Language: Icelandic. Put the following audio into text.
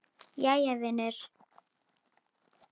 Jæja vinur.